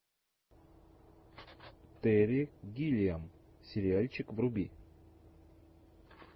терри гиллиам сериальчик вруби